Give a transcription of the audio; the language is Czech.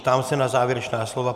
Ptám se na závěrečná slova.